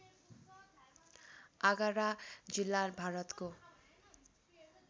आगरा जिल्ला भारतको